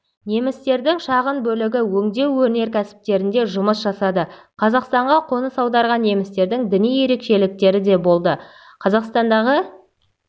немістердің шағын бөлігі өңдеу өнеркәсіптерінде жұмыс жасады қазақстанға қоныс аударған немістердің діни ерекшеліктері де болды қазақстандағы